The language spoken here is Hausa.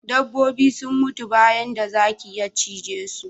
Dabbobi sun mutu bayan da zaki ya cije su